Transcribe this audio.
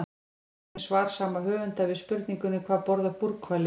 Skoðið einnig svar sama höfundur við spurningunni Hvað borða búrhvalir?